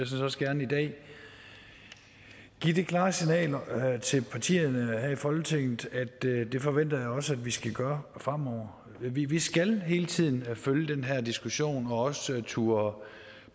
set også gerne i dag give det klare signal til partierne her i folketinget at det forventer jeg også at vi skal gøre fremover vi vi skal hele tiden følge den her diskussion og også turde